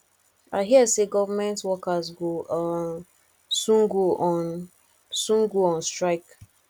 i hear say government workers go um soon go on soon go on strike